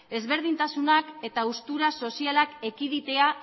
ezberdintasunak eta haustura sozialak ekiditea